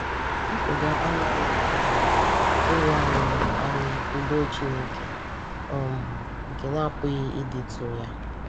Mpụga anaghị um ewe anyị anyị “udo Chineke um nke na-apụghị ịdịtụ ya.”